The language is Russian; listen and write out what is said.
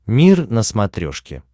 мир на смотрешке